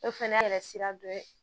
O fana yɛrɛ sira dɔ ye